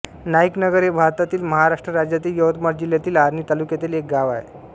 नाईक नगर हे भारतातील महाराष्ट्र राज्यातील यवतमाळ जिल्ह्यातील आर्णी तालुक्यातील एक गाव आहे